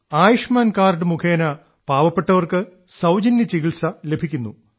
Ayushman card മുഖേന പാവപ്പെട്ടവർക്ക് സൌജന്യ ചികിത്സ ലഭിക്കുന്നു